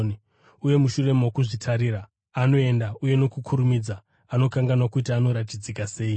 uye, mushure mokuzvitarira, anoenda uye nokukurumidza anokanganwa kuti anoratidzika sei.